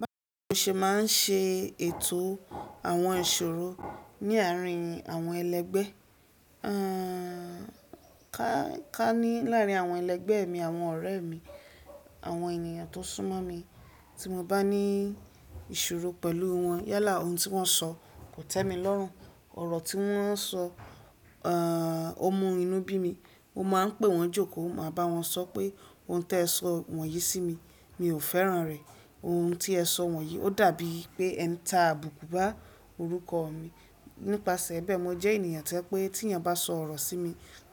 Báwo ṣe màá ṣe ètò àwọn ìṣòro ní àárín àwọn ẹlẹgbẹ́? Àn, ká ní láàrín àwọn ẹlẹgbẹ́ mi, àwọn ọ̀rẹ́ mi, àwọn ènìyàn tó sún mọ́ mi tí mo bá ní ìṣòro pẹ̀lú wọn yálà ohun tí wọ́n sọ kò tẹ́ mi lọ́rùn. Ọ̀rọ̀ tí wọ́n sọ, àn, ó mú inú bí mi. Mo máa ń pè wọ́n jòkó, màá bá wọn sọ pé ohun tí ẹ sọ wọ̀nyí sí mi, mi ò fẹ́ràn rẹ̀. Ohun tí ẹ sọ wọ̀nyí ó dàbí i pé ẹ ń ta àbùkù bá orúkọ mi. Nípasẹ̀ bẹ́ẹ̀, mo jẹ́ ènìyàn tó pé tí ẹni bá sọ ọ̀rọ̀ sí mi